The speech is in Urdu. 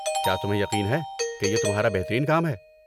کیا تمہیں یقین ہے کہ یہ تمہارا بہترین کام ہے؟